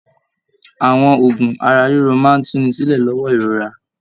Àwọn oògùn ara-ríro máa tùnísílẹ̀ lọwọ ìrora. l